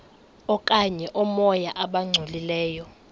okanye oomoya abangcolileyo